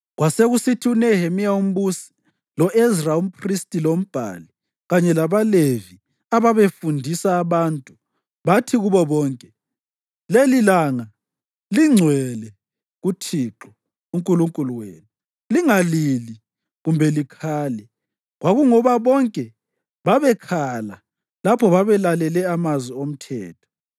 Kwasekusithi uNehemiya umbusi, lo-Ezra umphristi lombhali, kanye labaLevi ababefundisa abantu bathi kubo bonke, “Lelilanga lingcwele kuThixo uNkulunkulu wenu. Lingalili kumbe likhale.” Kwakungoba bonke babekhala lapho babelalele amazwi oMthetho.